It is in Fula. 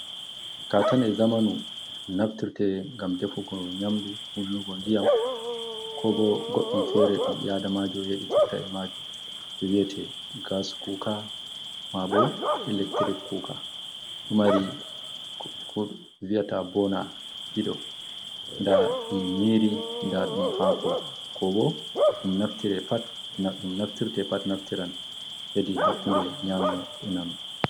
Katane zamanu naftirte gam defugo nyamdu hullnugon diyam, kobo goddum fere dum bi adamajo yeditirta e maji viyate gas kuka mabo electric kuka dumari viata bona dido da dum nyiri dadum hako, ko bo dum naftirte pat naftiran hedi hakkunde nyama enano.